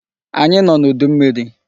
Anyị nọ n'udu mmiri.